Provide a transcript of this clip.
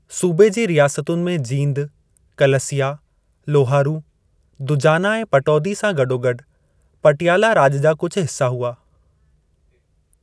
सूबे जी रियासतुनि में जींद, कलसिया, लोहारू, दुजाना ऐं पटौदी सां गॾोगॾु पटियाला राॼु जा कुझ हिस्सा हुआ।